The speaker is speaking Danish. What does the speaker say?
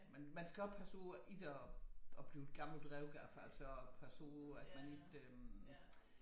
Men man skal også passe på ikke og blive gammelt røvgaf altså passe på at man ikke øh